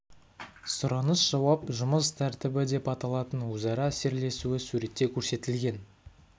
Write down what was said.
сұраныс-жауап жұмыс тәртібі деп аталатын өзара әсерлесуі суретте көрсетілген